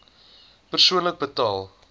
persoonlik betaal